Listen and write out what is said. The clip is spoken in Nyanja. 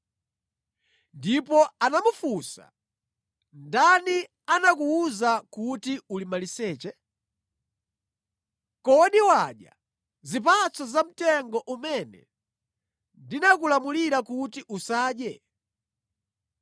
Ndipo anamufunsa, “Ndani anakuwuza kuti uli maliseche? Kodi wadya zipatso za mtengo umene ndinakulamulira kuti usadye?”